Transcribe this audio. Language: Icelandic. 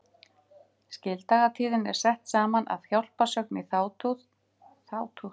Skildagatíðin er sett saman af hjálparsögn í þátíð og nafnhætti aðalsagnar.